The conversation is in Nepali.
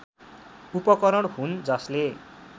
उपकरण हुन् जसले